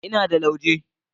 Ina da lauje.